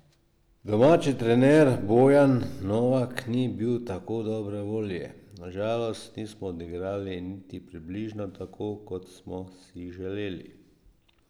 Domači trener Bojan Novak ni bil tako dobre volje: 'Na žalost nismo odigrali niti približno tako, kot smo si želeli.